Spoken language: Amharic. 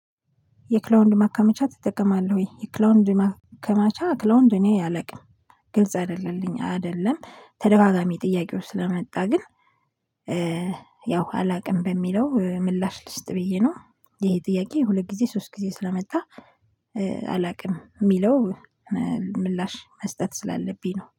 የክላውንድ ማከመቻ ትጠቀማለህ ወይ? የክላውንድ ማከማቻ ክላውንድ እኔ አለቅም ግልጽ አይደለልኝም አይደለም ተደጋጋሚ ጥያቄው ስለመጣ ግን ያው አላውቅም በሚለው ምላሽ ልስጥ ብዬ ነው። ይሄ ጥያቄ ሁለት ጊዜ ሶስት ጊዜ ስለመጣ አላውቅም የሚለው ምላሽ መስጠት ስላለብኝ ነው